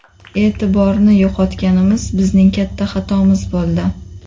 E’tiborni yo‘qotganimiz bizning katta xatomiz bo‘ldi.